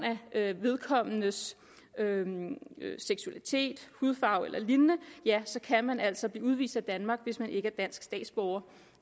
af vedkommendes seksualitet hudfarve eller lignende ja så kan man altså blive udvist af danmark hvis man ikke er dansk statsborger